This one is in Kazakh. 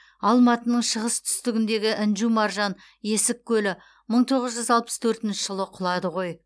алматының шығыс түстігіндегі інжу маржан есік көлі мың тоғыз жүз алпыс төртінші жылы құлады ғой